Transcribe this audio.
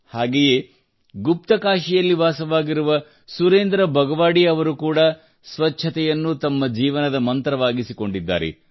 ಹಾಗೆಯೇ ಗುಪ್ತಕಾಶಿಯಲ್ಲಿ ವಾಸವಾಗಿರುವ ಸುರೇಂದ್ರ ಬಗವಾಡಿ ಅವರು ಕೂಡಾ ಸ್ವಚ್ಛತೆಯನ್ನು ತಮ್ಮ ಜೀವನದ ಮಂತ್ರವಾಗಿಸಿಕೊಂಡಿದ್ದಾರೆ